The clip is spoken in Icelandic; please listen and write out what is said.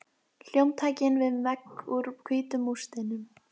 Hljómtækin við vegg úr hvítum múrsteinum.